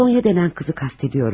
Sonya deyilən qızı qəsd edirəm.